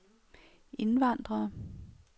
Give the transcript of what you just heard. indvandrere